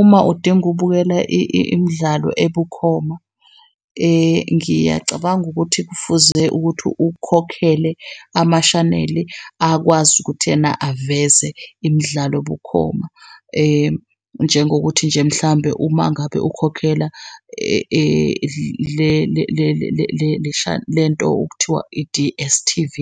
Uma udinga ukubukela imidlalo ebukhoma, ngiyacabanga ukuthi kufuze ukuthi ukhokhele amashaneli akwazi ukuthi ena aveze imidlalo bukhoma, njengokuthi nje mhlambe uma ngabe ukhokhela le nto okuthiwa i-D_S_T_V.